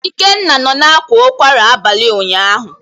Ikenna nọ na akwa ụkwara abalị ụnyahụ.